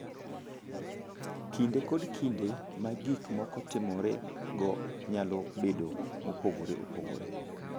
Kinde kod kinde ma gik moko timorego nyalo bedo mopogore opogore.